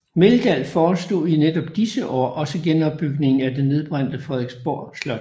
Meldahl forestod i netop disse år også genopbygningen af det nedbrændte Frederiksborg Slot